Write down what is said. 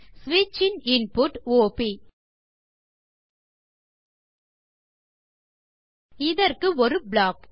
ஸ்விட்ச் in input of இதற்கு ஒரு ப்ளாக்